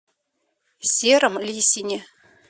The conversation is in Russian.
сером лисине